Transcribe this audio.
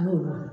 An y'o dɔn